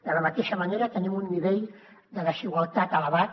de la mateixa manera tenim un nivell de desigualtat elevat